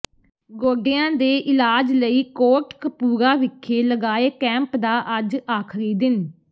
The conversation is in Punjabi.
ਗੋਡਿਆਂ ਦੇ ਇਲਾਜ ਲਈ ਕੋਟ ਕਪੂਰਾ ਵਿਖੇ ਲਗਾਏ ਕੈਂਪ ਦਾ ਅੱਜ ਆਖ਼ਰੀ ਦਿਨ